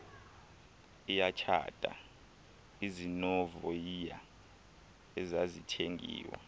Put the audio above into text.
iyatshata izinovoyiya ezazithengiwe